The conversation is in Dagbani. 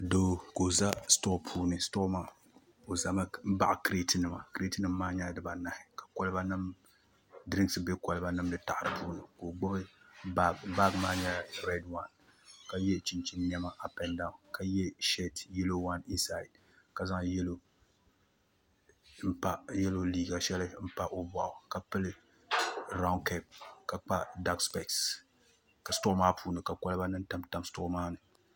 Doo ka o ʒɛ sitoo ni o ʒɛmi baɣi kirɛt nima kirɛt nim maa nyɛla dubanahi ka dirinks bɛ kolba nim ni taɣa di puuni ka o gbubi baag baag maa nyɛla rɛd waan ka yɛ chinchin niɛma ap ɛnd daawn ka yɛ sheet yɛlo waan ka zaŋ yɛlo liiga shɛli n pa o boɣu ka pili raun kɛp ka kpa dak spɛs stoo maa puuni ka kolba nim tamtam sitoo maa ni